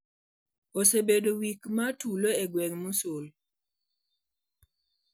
osebedo wik mar tulo e gweng Mosul.